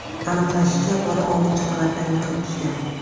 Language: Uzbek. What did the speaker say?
Aniqlanishicha, bola oltinchi qavatdan yiqilib tushgan.